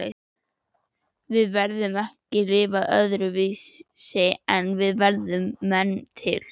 Við getum ekki lifað öðruvísi en við erum menn til.